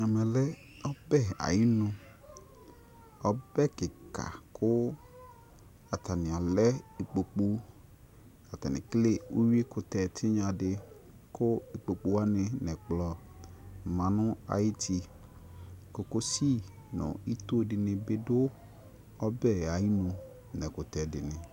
Ɛmɛlɛ ɔbɛ ayinu ɔbɛ kika atani alɛ ikpokʊ ekele ʊyui kutɛ tiŋadi kʊ ikpokʊ nu ɛkplɔ ma nu ayuti kokosi nu ɛkʊtɛ dini bi du ito tui